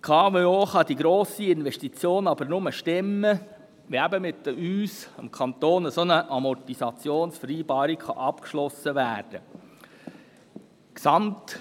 Die KWO kann diese grosse Investition aber nur stemmen, wenn mit uns, dem Kanton, eine solche Amortisationsvereinbarung abgeschlossen werden kann.